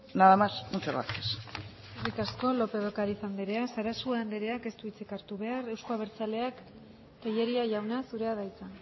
nada más y muchas gracias eskerrik asko lópez de ocariz andrea sarasua andereak ez du hitzik hartu behar euzko abertzaleak tellería jauna zurea da hitza